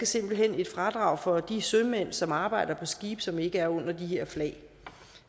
simpelt hen et fradrag for de sømænd som arbejder på skibe som ikke er under de her flag